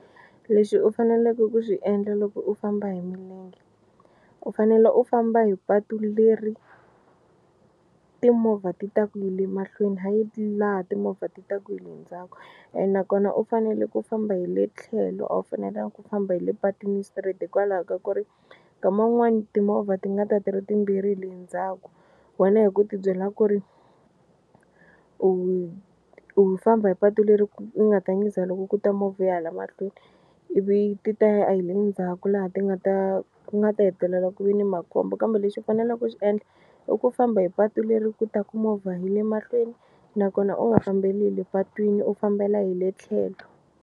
Lexi u faneleke ku xi endla loko u famba hi milenge u fanele u famba hi patu leri timovha ti taka hi le mahlweni hayi laha timovha ti taka hi le ndzhaku ene nakona u fanele ku famba hi le tlhelo a wu fanelanga ku famba hi le patwini straight hikwalaho ka ku ri nkama wun'wani timovha ti nga ti ri timbirhi hi le ndzhaku wena hi ku tibyela ku ri u u famba hi patu leri ku nga ta nyiza loko ku ta movha ya hala mahlweni ivi ti ta a hi le ndzhaku laha ti nga ta ku nga ta hetelela ku ve ni makhombo kambe lexi u faneleke ku xi endla i ku famba hi patu leri ku taku movha hi le mahlweni nakona u nga fambeli le patwini u fambela hi le tlhelo.